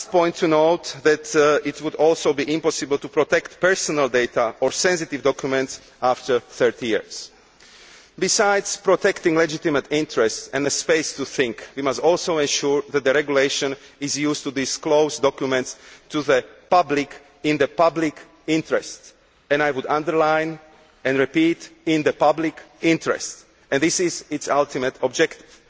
Finally, it would also be impossible to protect personal data or sensitive documents after 30 years. Besides protecting legitimate interests and a space to think we must also ensure that the regulation is used to disclose documents to the public in the public interest, and I would underline and repeat in the public interest. This is its ultimate objective.